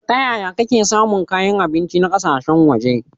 Ta yaya keka samu kayan abinci na kasashen waje?